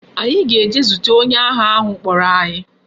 Anyi ga-eje zute onye agha ahu kporo anyi